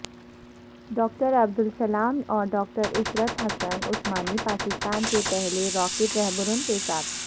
doctor Abdus Salam اور doctor Ishrat Hussain Usmani Pakistan کے پہلے راکٹ رہبر ون کے ساتھ